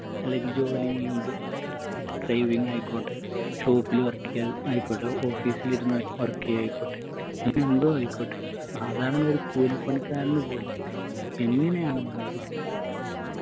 അല്ലെങ്കി ജോലി ചെയ്യുമ്പോ driving ആയിക്കോട്ടെ shop ല് work എയ്യുന്നതായിക്കോട്ടെ office ല് ഇരുന്ന് work എയ്യായിക്കോട്ടെ അങ്ങനെ എന്തോ ആയിക്കോട്ടെ സാധാരണ ഒരു കൂലിപ്പണിക്കാരനു പോലും എങ്ങനെയാണെന്നുണ്ടെങ്കിൽ